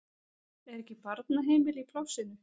Er ekki barnaheimili í plássinu?